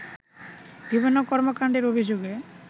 বিভিন্ন কর্মকাণ্ডের অভিযোগে